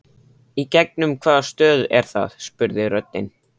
Í gegnum hvaða stöð er það? spurði röddin.